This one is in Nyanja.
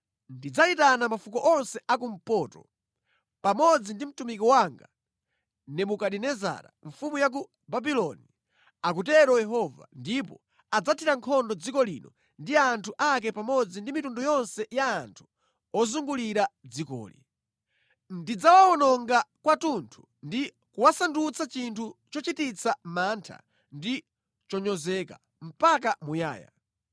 ndidzayitana mafuko onse akumpoto, pamodzi ndi mtumiki wanga Nebukadinezara mfumu ya ku Babuloni,” akutero Yehova, “ndipo adzathira nkhondo dziko lino ndi anthu ake pamodzi ndi mitundu yonse ya anthu ozungulira dzikoli. Ndidzawawononga kwathunthu ndi kuwasandutsa chinthu chochititsa mantha ndi chonyozeka, mpaka muyaya.